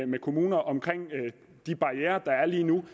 med kommunerne om de barrierer der er lige nu